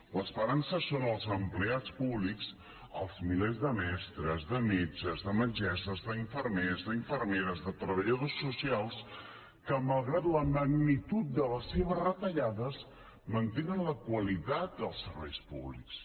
l’esperança són els empleats públics els milers de mestres de metges de metgesses d’infermers d’infermeres de treballadors socials que malgrat la magnitud de les seves retallades mantenen la qualitat dels serveis públics